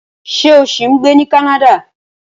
Ṣé o ṣì ń gbé ní Canada?